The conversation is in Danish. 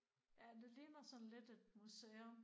Ja det ligner sådan lidt et museum